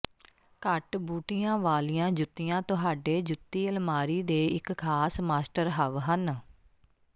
ਘੱਟ ਬੂਟੀਆਂ ਵਾਲੀਆਂ ਜੁੱਤੀਆਂ ਤੁਹਾਡੇ ਜੁੱਤੀ ਅਲਮਾਰੀ ਦੇ ਇੱਕ ਖਾਸ ਮਾਸਟਰਹਵ ਹਨ